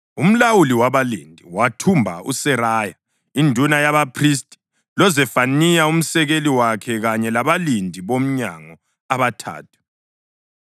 Umlawuli wabalindi wathumba uSeraya induna yabaphristi, loZefaniya umsekeli wakhe kanye labalindi bomnyango abathathu.